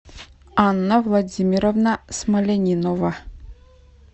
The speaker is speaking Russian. анна владимировна смолянинова